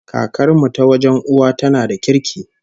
Kakar mu ta wajen uwa tana da kirki